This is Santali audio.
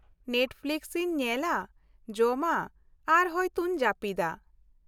ᱱᱮᱴᱯᱷᱞᱤᱠᱥ ᱤᱧ ᱧᱮᱞᱟ, ᱡᱚᱢᱟ, ᱟᱨ ᱦᱚᱭᱛᱚᱧ ᱡᱟᱹᱯᱤᱫᱟ᱾